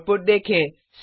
output देखें